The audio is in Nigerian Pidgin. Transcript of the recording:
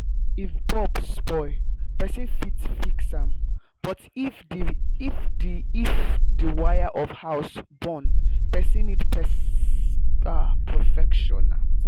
if bulb spoil person fit fix am but if the if the wire of house burn person need professional